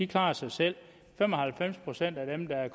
klarer sig selv fem og halvfems procent af dem der